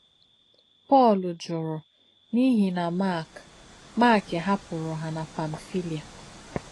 Pọ́l jùrù n’ìhì nà Mák Mák hàpùrù hà nà Pamfílià.